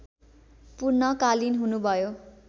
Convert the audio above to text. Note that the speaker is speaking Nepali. पूर्णकालीन हुनुभयो